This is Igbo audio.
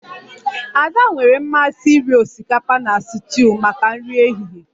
Ada nwere mmasị iri osikapa na stuuyu maka nri ehihie